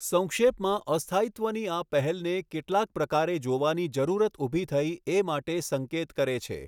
સંક્ષેપમાં અસ્થાયિત્વની આ પહેલને કેટલાક પ્રકારે જોવાની જરૂરત ઊભી થઈ એ માટે સંકેત કરે છે.